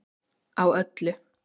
Á öllu